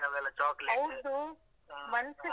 .